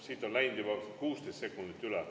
Siit on läinud juba 16 sekundit üle.